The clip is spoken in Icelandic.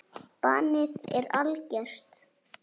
Bannið er algert.